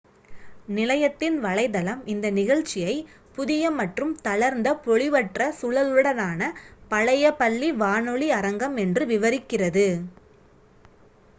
"நிலையத்தின் வலைத்தளம் இந்த நிகழ்ச்சியை "புதிய மற்றும் தளர்ந்த பொலிவற்ற சுழலுடனான பழைய பள்ளி வானொலி அரங்கம்!" என்று விவரிக்கிறது